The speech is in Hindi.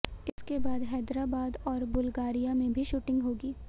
इसके बाद हैदराबाद और बुल्गारिया में भी शूटिंग होगी